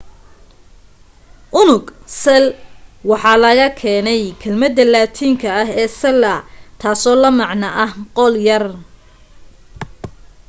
unug cell waxa laga keenay kelmadda laatiinka ah ee cella taasoo la macno ah qol yar